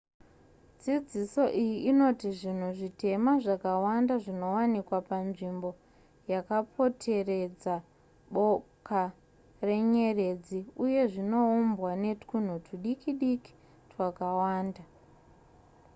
dzidziso iyi inoti zvinhu zvitema zvakawanda zvinowanikwa panzvimbo yakaporeteredza boka renyeredzi uye zvinoumbwa netwunhu twudikidiki twakawanda